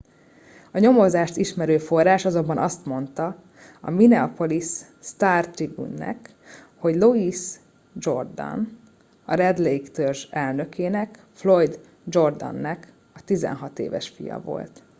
a nyomozást ismerő forrás azonban azt mondta a minneapolis star tribune nak hogy louis jourdain a red lake törzs elnökének floyd jourdain nek a 16 éves fia volt